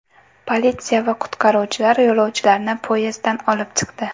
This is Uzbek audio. Politsiya va qutqaruvchilar yo‘lovchilarni poyezddan olib chiqdi.